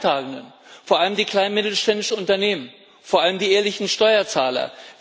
Wer sind die Leidtragenden? Vor allem die kleinen und mittelständischen Unternehmen, vor allem die ehrlichen Steuerzahler.